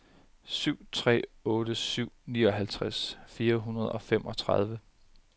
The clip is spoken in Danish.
syv tre otte syv nioghalvtreds fire hundrede og femogtredive